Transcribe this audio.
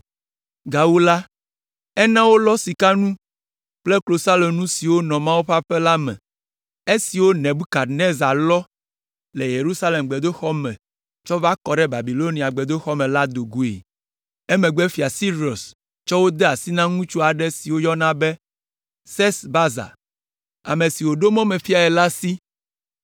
Gawu la, ena wolɔ sikanu kple klosalonu siwo nɔ Mawu ƒe aƒe la me, esiwo Nebukadnezar lɔ le Yerusalem gbedoxɔ me tsɔ va kɔ ɖe Babilonia gbedoxɔ me la do goe. “Emegbe Fia Sirus tsɔ wo de asi na ŋutsu aɖe si woyɔna be Sesbazar, ame si wòɖo mɔmefiae la si,